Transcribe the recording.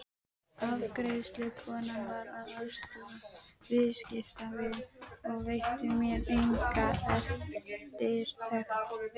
Afgreiðslukonan var að aðstoða viðskiptavin og veitti mér enga eftirtekt.